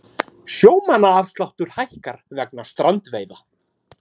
Sjómannaafsláttur hækkar vegna strandveiða